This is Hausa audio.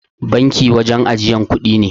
Banki wurin ajiyan kuɗi ne.